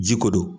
Ji ko don